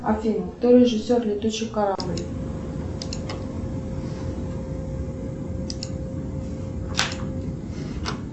афина кто режиссер летучий корабль